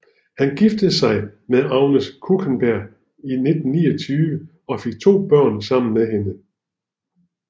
Han giftede sig med Agnes Kuchenberg i 1929 og fik to børn sammen med hende